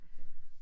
Okay